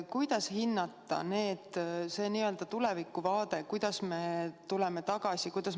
Kuidas hinnata seda n-ö tulevikuvaadet, kuidas me tuleme tagasi?